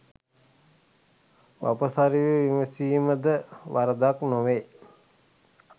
වපසරිය විමසීම ද වරදක් නොවේ